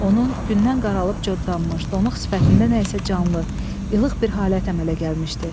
Onun gündən qaralıb coddanmış, donuq sifətində nə isə canlı, ilıq bir halət əmələ gəlmişdi.